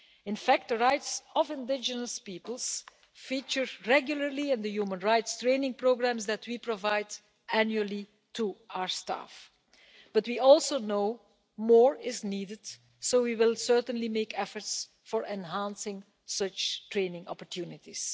In fact, the rights of indigenous peoples is a subject that features regularly in the human rights training programmes we provide annually to our staff but we also know more is needed, so we will certainly make efforts to enhance such training opportunities.